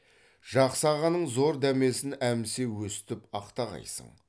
жақсы ағаның зор дәмесін әмсе өстіп ақтағайсың